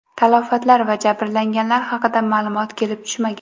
Talafotlar va jabrlanganlar haqida ma’lumot kelib tushmagan.